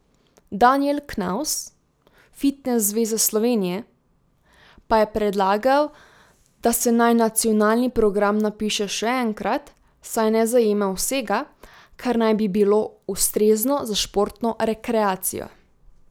Danijel Knavs, Fitnes zveza Slovenije, pa je predlagal, da se naj nacionalni program napiše še enkrat, saj ne zajema vsega, kar naj bi bilo ustrezno za športno rekreacijo.